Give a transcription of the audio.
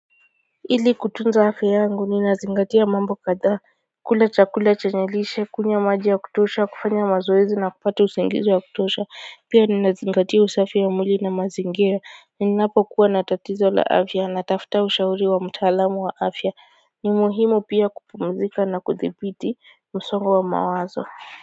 Ili kutunza afya yngu ninazingatia mambo kadhaa kula chakula chenye lishe kunywa maji ya kutosha kufanya mazoezi na kupata usingizi wa kutosha pia ninazingatia usafi ya mwili na mazingira ninapo kuwa na tatizo la afya natafuta ushauri wa mtaalamu wa afya ni muhimu pia kupumzika na kuthibiti msongo wa mawazo.